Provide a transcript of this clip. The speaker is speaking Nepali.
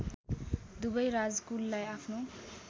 दुवै राजकुललाई आफ्नो